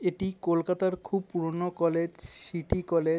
এটি কোলকাতার খুব পুরোনো কলেজ সিটি কলে--